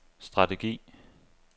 strategi